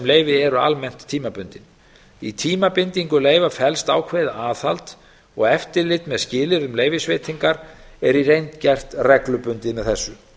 leyfi eru almennt tímabundin í tímabindingu leyfa felst ákveðið aðhald og eftirlit með skilyrðum leyfisveitingar er í reynd gert reglubundin með þessu